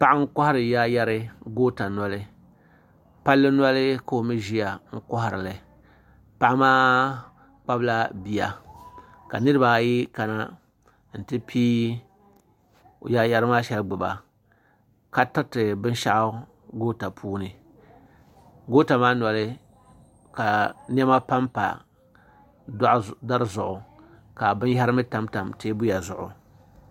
Paɣa n kohari yaayeri goota noli palli noli ka o mee ʒia n koharili paɣa maa kpabila bia ka niriba ayi kana n ti piigi yaayeri maa sheli gbiba ka tiriti binshaɣu goota puuni goota maa noli ka niɛma pampa dari zuɣu ka binyahari mee tam tam teebuya zuɣu.